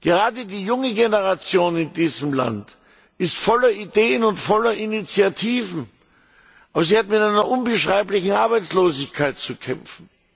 Gerade die junge Generation in diesem Land ist voller Ideen und voller Initiativen, aber sie hat mit einer unbeschreiblichen Arbeitslosigkeit zu kämpfen.